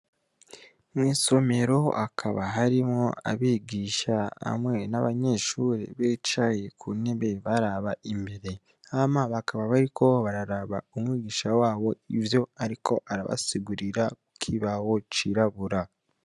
Mw'isomero hakaba harimwo abigisha hamwe n'abanyeshure bicaye kuntebe baraba imbere. Hama bakaba bariko bararaba ivyo umwigishwa wabo ariko arabasigurira kukibaho cirabura.